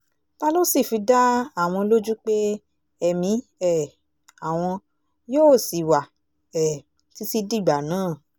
ta ló sì fi dá àwọn lójú pé ẹ̀mí um àwọn yóò ṣì wà um títí dìgbà náà